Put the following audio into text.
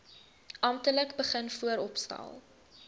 amptelik begin vooropstel